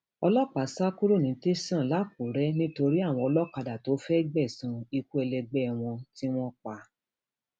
ọlọpàá sá kúrò ní tẹsán lakúrẹ nítorí àwọn olókádá tó fẹẹ um gbẹsan ikú ẹlẹgbẹ wọn um tí wọn pa